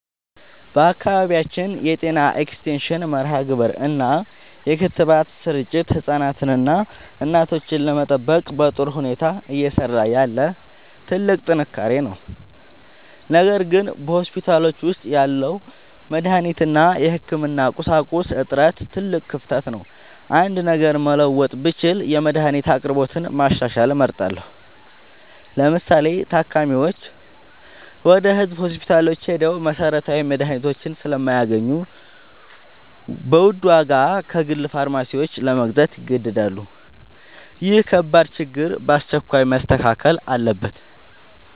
በአካባቢያችን የጤና ኤክስቴንሽን መርሃግብር እና የክትባት ስርጭት ህፃናትንና እናቶችን ለመጠበቅ በጥሩ ሁኔታ እየሰራ ያለ ትልቅ ጥንካሬ ነው። ነገር ግን በሆስፒታሎች ውስጥ ያለው የመድኃኒት እና የህክምና ቁሳቁስ እጥረት ትልቅ ክፍተት ነው። አንድ ነገር መለወጥ ብችል የመድኃኒት አቅርቦትን ማሻሻል እመርጣለሁ። ለምሳሌ፤ ታካሚዎች ወደ ህዝብ ሆስፒታሎች ሄደው መሰረታዊ መድኃኒቶችን ስለማያገኙ በውድ ዋጋ ከግል ፋርማሲዎች ለመግዛት ይገደዳሉ። ይህ ከባድ ችግር በአስቸኳይ መስተካከል አለበት።